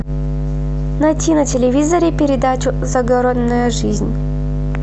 найти на телевизоре передачу загородная жизнь